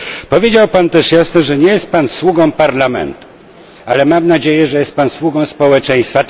Powiedział Pan też jasno, że nie jest Pan sługą Parlamentu, ale mam nadzieję, że jest Pan sługą społeczeństwa.